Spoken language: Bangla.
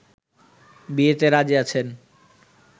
বিয়েতে রাজী আছেন